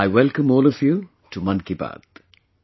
I welcome all of you to 'Mann Ki Baat'